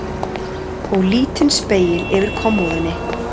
Og lítinn spegil yfir kommóðunni.